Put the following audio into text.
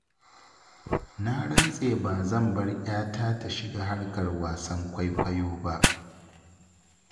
Na rantse ba zan bar 'yata ta shiga harkar wasan kwaikwayo ba.